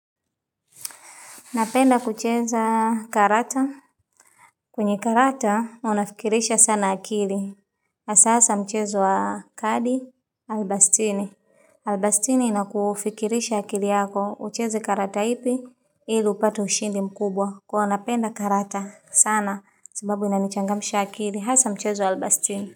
Napenda kucheza karata. Kwenye karata, hua nafikirisha sana akili. Asa asa mchezo wa kadi, albastini. Albastini inakufikirisha akili yako, ucheze karata ipi, ili upate ushindi mkubwa. Kwa unapenda karata sana, sababu inanichangamsha akili. Asa mchezo wa albastini.